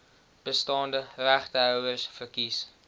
bestaande regtehouers verkies